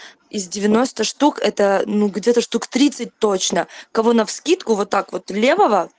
из девяноста штук это ну где-то штук тридцать точно кого навскидку вот так левого